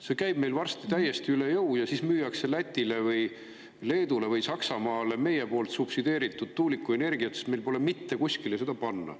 See käib meil varsti täiesti üle jõu ja siis müüakse Lätile või Leedule või Saksamaale meie subsideeritud tuulikuenergiat, sest meil pole mitte kuskile seda panna.